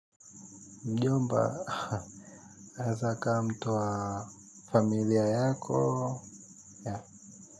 Mjomba anaeza akawa mtu wa familia yako.